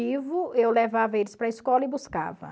eu levava eles para a escola e buscava.